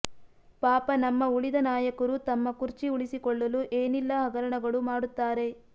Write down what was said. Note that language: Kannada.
ಪಾಪ ನಮ್ಮ ಉಳಿದ ನಾಯಕರು ತಮ್ಮ ಕುರ್ಚಿ ಉಳಿಸಿಕೊಳ್ಳಲು ಏನಿಲ್ಲಾ ಹಗರಣಗಳು ಮಾಡುತ್ತಾರೆ